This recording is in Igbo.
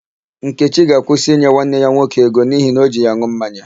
Nkechi ga-akwụsị inye nwanne ya nwoke ego n'ihi na o ji ya an̄ụ mmanya.